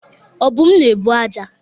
Obum na-ebu aja.